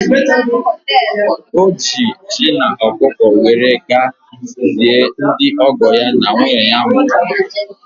Ọ ji ji na ọkụkọ were ga-zie ndị ọgọ ya na nwunye ya mụrụ nwa.